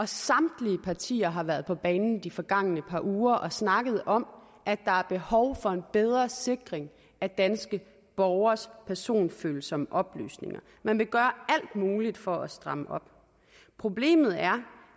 samtlige partier har været på banen i de forgangne par uger og snakket om at der er behov for en bedre sikring af danske borgeres personfølsomme oplysninger man vil gøre alt muligt for at stramme op problemet er